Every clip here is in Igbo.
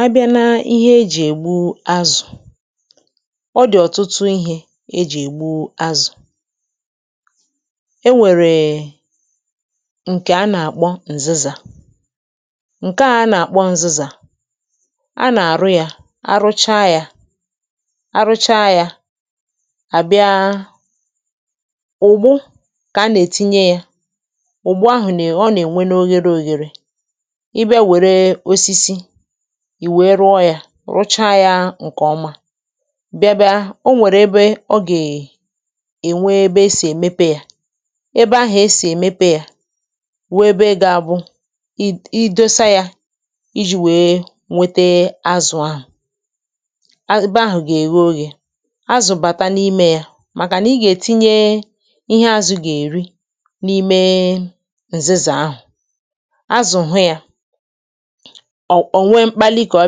"A bịa na ihe ejì ègbu azụ̀, ọ dị̀ ọ̀tụtụ ihė ejì ègbu azụ̀. E nwèrè ǹkè a nà-àkpọ nzizà. Ṅke a a nà-àkpọ nzizà; a nà-àrụ yȧ, arụcha yȧ arụcha yȧ à bịa; ugbu a kà a nà-ètinye yȧ, ugbu ahụ̀ nà ọ nà-ènwe n’oghere òghère. Ị́ bia were osisi ì wèe rụọ yȧ, rụchaa yȧ ǹkè ọma bịa bịa o nwèrè ebe ọ gà-ènwe ebe e sì èmepe yȧ; ebe ahụ̀ e sì èmepe yȧ wụ́ ebe gȧ-abụ, i i dosa yȧ iji̇ wèe nwete azụ̀ ahụ̀ ebe ahụ̀ gà-eghe oghè azụ̀ bàta n’imė yȧ màkà nà ị gà-ètinye ihe azụ̀ gà-èri n’ime ǹzizà ahụ̀; azụ̀ hụ yȧ ọ̀ ò nwee mkpali kà ọ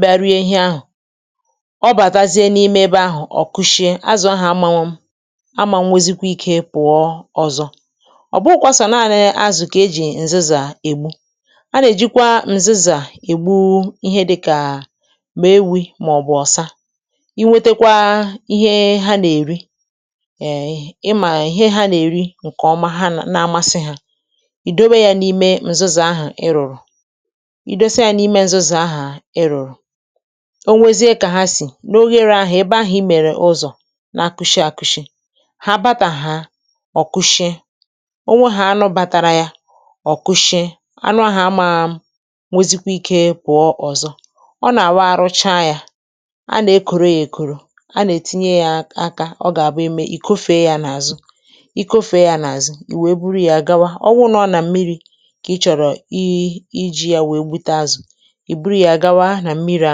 bịa rie ihe ahụ̀. Ọ bàtazie n’ime ebe ahụ̀ ọ̀ kushie azụ̀ ahụ̀ amanwụ ama nwezikwȧ ike pụ̀ọ ọzọ. Ọ́ bụụ kwa sọ́ náni azụ̀ kà e jì ǹzizà ègbu, a nà-èjikwa ǹzizà ègbu ihe dịkà ma ewi màọbụ̀ ọ̀sa. Ị nwetekwa ihe ha nà-èri[um] ị mà ihe ha nà-èri ǹkè ọma ha nà-amasị ha, ì dobe ya n’ime ǹzizà ahụ̀ ịrụ̀rụ̀. Ị́ dosáà yà n'ime ṅzizà ahụ ịrụ̀rụ̀, o nwezie kà ha sì n’oghere ahụ̀ ebe ahụ̀ ị́ mèrè ụzọ̀ na-akụshị àkụshị̀ hà bȧtà hà ọ̀kụshịe. Ò nwehà anụ bȧtȧrȧ yȧ ọ̀kụshịe, anụ ahụ̀ ama nwezikwa ikė pụ̀ọ ọ̀zọ. Ọ́ nà-àwụ̀ àrụ́cha yȧ, anà-ekȯro yȧ èkoro, anà-ètinye yȧ aka ọ gà-àbụ eme ì kofèe yȧ nà-àzụ;i kofèe yȧ nà-àzụ ì wèe buru yȧ gawa. Ọ wụ nọ̀ nà mmiri̇ kà ị chọ̀rọ̀ ị́ iji̇ ya wèe gbute azụ̀, Ị́ bụrụ̀ ya gawa na mmiri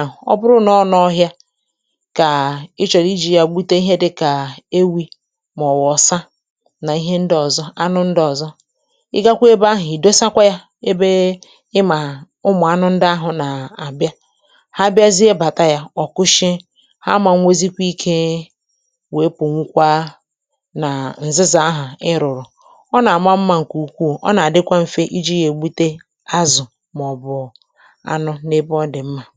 ahụ̀ ;ọ bụrụ nà ọ n'ọhịa kà ị chọ̀rọ̀ iji̇ yȧ gbute ihe dịkà ewi̇, mà ọ̀wụ̀ ọ̀sa nà ihe ndị ọ̀zọ, anụ ndị ọ̀zọ ị gakwa ebe ahụ̀, ị̀ dosakwa yȧ ebe ị mà ụmụ̀ anụ ndị ahụ̀ nà-àbịa. Ha bịazie bàta yȧ, ọ̀ kụshịe. Ha manwozikwa ikė wee pù nwụkwa nà ǹzịzà ahụ̀ ị ịrụ̀rụ̀, ọ nà-àma mmȧ ǹkè ukwuù, ọ nà-àdịkwa mfe iji̇ yȧ ègbute azụ̀ ma ọ bụ̀ ánụ̀ na-ebe ọ́ dị̀ mmà. "